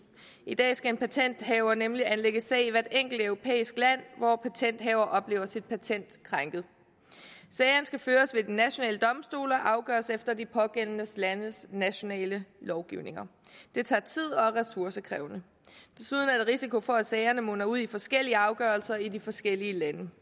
i dag skal en patenthaver nemlig anlægge sag i hvert enkelt europæisk land hvor patenthaver oplever sit patent krænket sagerne skal føres ved de nationale domstole og afgøres efter de pågældende landes nationale lovgivning det tager tid og er ressourcekrævende desuden er der risiko for at sagerne munder ud i forskellige afgørelser i de forskellige lande